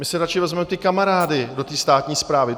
My si radši vezmem ty kamarády do tý státní správy.